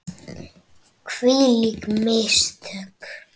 Hvílík mistök!